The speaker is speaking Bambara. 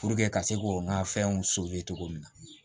ka se ko n ka fɛnw cogo min na